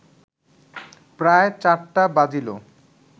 প্রায় চারটা বাজিল